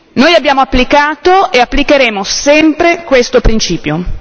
Noi abbiamo applicato e applicheremo sempre questo principio.